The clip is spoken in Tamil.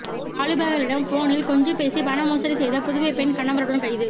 வாலிபர்களிடம் போனில் கொஞ்சிப் பேசி பணமோசடி செய்த புதுவை பெண் கணவருடன் கைது